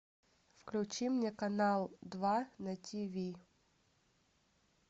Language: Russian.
включи мне канал два на тиви